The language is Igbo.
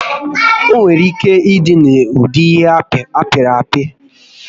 Onwere ike ịdị n'ụdị ihe apịrị apị